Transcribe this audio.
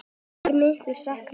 Hans verður mikið saknað.